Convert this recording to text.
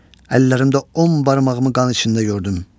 Əllərimdə on barmağımı qan içində gördüm.